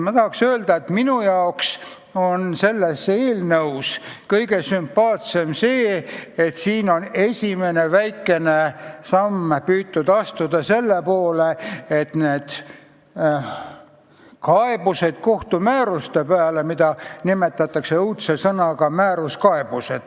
Ma tahan öelda, et minu jaoks on selles eelnõus kõige sümpaatsem tõsiasi, et siin on püütud astuda esimene väikene samm selle poole, vähendada kaebusi kohtumääruste peale, mida nimetatakse õudse sõnaga "määruskaebused".